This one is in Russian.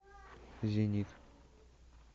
зенит